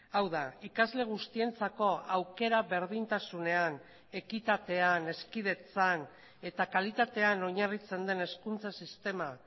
hau da ikasle guztientzako aukera berdintasunean ekitatean hezkidetzan eta kalitatean oinarritzen den hezkuntza sistema